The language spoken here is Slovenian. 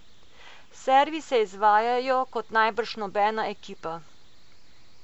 Servise izvajajo kot najbrž nobena ekipa.